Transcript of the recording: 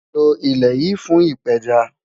Lọ ilẹ́ yìí fún ìpẹ́já